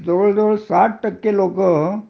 जवळ जवळ साठ टक्के लोक